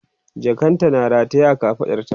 jakan tana rataye a kafaɗarta